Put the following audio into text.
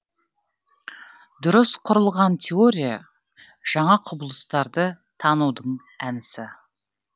дұрыс құрылған теория жаңа құбылыстарды танудің әдісі